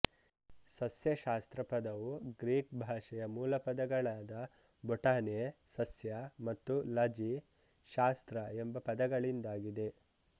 ಸಸ್ಯಶಾಸ್ತ್ರ ಪದವು ಗ್ರೀಕ್ ಭಾಷೆಯ ಮೂಲಪದಗಳಾದ ಬೊಟಾನೆಸಸ್ಯಮತ್ತು ಲಜಿಶಾಸ್ತ್ರ ಎಂಬ ಪದಗಳಿಂದಾಗಿದೆ